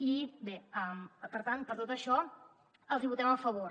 i bé per tant per tot això els hi votem a favor